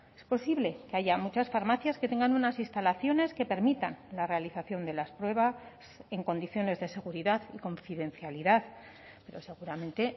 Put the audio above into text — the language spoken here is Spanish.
es posible que haya muchas farmacias que tengan unas instalaciones que permitan la realización de las pruebas en condiciones de seguridad y confidencialidad pero seguramente